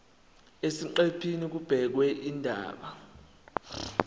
eziqephini kubhekwe izindaba